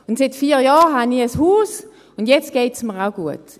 Seit vier Jahren habe ich ein Haus und jetzt geht es mir auch gut.